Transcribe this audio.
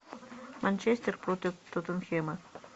манчестер против тоттенхэма